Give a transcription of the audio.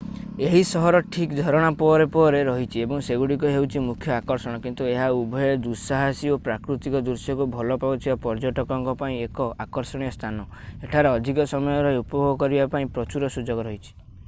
ଏହି ସହର ଠିକ୍ ଝରଣା ପରେ ପରେ ରହିଛି ଏବଂ ସେଗୁଡ଼ିକ ହେଉଛି ମୁଖ୍ୟ ଆକର୍ଷଣ କିନ୍ତୁ ଏହା ଉଭୟେ ଦୁଃସାହସୀ ଓ ପ୍ରାକୃତିକ ଦୃଶ୍ୟକୁ ଭଲ ପାଉଥିବା ପର୍ଯ୍ୟଟକଙ୍କ ପାଇଁ ଏକ ଆକର୍ଷଣୀୟ ସ୍ଥାନ ଏଠାରେ ଅଧିକ ସମୟ ରହି ଉପଭୋଗ କରିବା ପାଇଁ ପ୍ରଚୁର ସୁଯୋଗ ରହିଛି